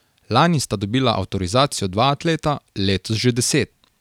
Lani sta dobila avtorizacijo dva atleta, letos že deset.